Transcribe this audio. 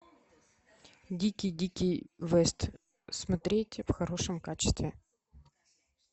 дикий дикий вест смотреть в хорошем качестве